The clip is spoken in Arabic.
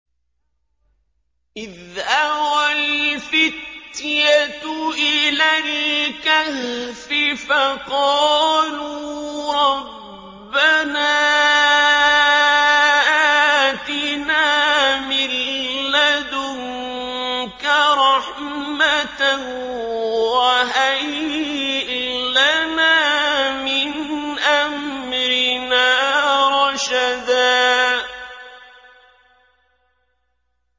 إِذْ أَوَى الْفِتْيَةُ إِلَى الْكَهْفِ فَقَالُوا رَبَّنَا آتِنَا مِن لَّدُنكَ رَحْمَةً وَهَيِّئْ لَنَا مِنْ أَمْرِنَا رَشَدًا